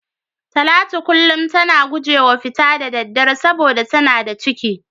Talatu kullum tana gujewa fita da daddare saboda tana da ciki.